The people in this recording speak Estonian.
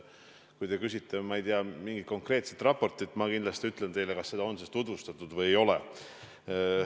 Kui te küsite, ma ei tea, mingi konkreetse raporti kohta, siis ma kindlasti ütlen teile, kas seda on tutvustatud või ei ole.